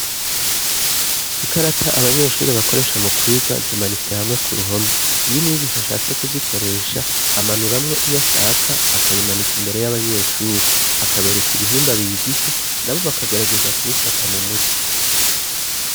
Ikarata abanyeshuri bakoresha mu kwiga zimanitse hamwe ku ruhome iyo umwigisha ashatse kuzikoresha amanuramwo iyo ashaka akayimanika imbere y'abanyeshuri akabereka ibihimba bigize na bo bakagarageza kubifata mu mutwi.